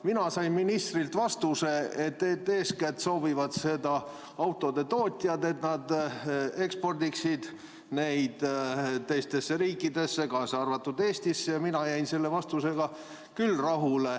Mina sain ministrilt vastuse, et eeskätt soovivad seda autode tootjad, et nad eksportida neid teistesse riikidesse, kaasa arvatud Eestisse, ja mina jäin selle vastusega küll rahule.